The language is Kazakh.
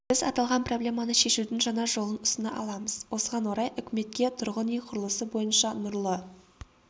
біз аталған проблеманы шешудің жаңа жолын ұсына аламыз осыған орай үкіметке тұрғын үй құрылысы бойынша нұрлы